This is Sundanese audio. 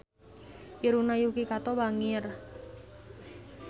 Irungna Yuki Kato bangir